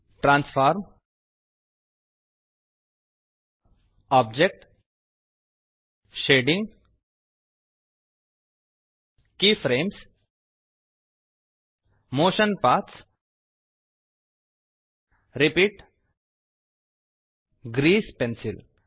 transform object shading keyframes motion paths repeat grease pencil